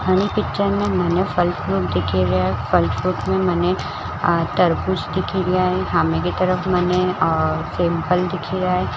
पिक्चर में मने फल फ्रूट दिखेरए है फल फ्रूट में मने आ तरबुज दिखिर ए सामने की तरफ मने टेम्पल दिखिर ए।